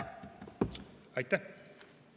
Aitäh!